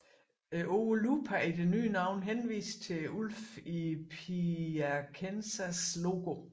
Ordet Lupa i det nye navn henviste til ulven i Piacenzas logo